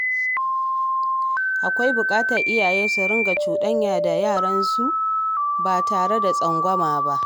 Akwai buƙatar iyaye su riƙa cuɗanya da yaransu ba tare da tsangwama ba.